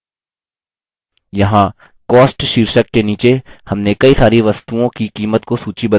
यहाँ cost शीर्षक के नीचे हमने कई सारी वस्तुओं की कीमत को सूचीबद्ध किया है